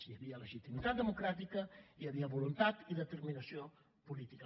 hi havia legitimitat democràtica i hi havia voluntat i determinació política